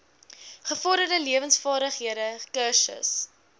gevorderde lewensvaardighede kursus